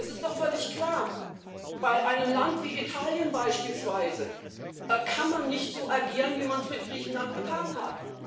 Es ist doch völlig klar Bei einem Land wie Italien beispielsweise kann man nicht so agieren, wie man es mit Griechenland getan hat.